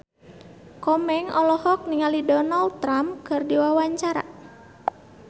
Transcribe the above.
Komeng olohok ningali Donald Trump keur diwawancara